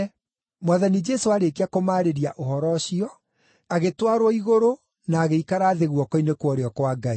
Mwathani Jesũ aarĩkia kũmaarĩria ũhoro ũcio, agĩtwarwo igũrũ na agĩikara thĩ guoko-inĩ kwa ũrĩo kwa Ngai.